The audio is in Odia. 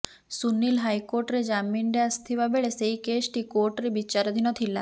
ସୁନିଲ ହାଇକୋର୍ଟରେ ଜାମିନରେ ଆସିଥିବା ବେଳେ ସେହି କେସଟି କୋର୍ଟରେ ବିଚାରଧିନ ଥିଲା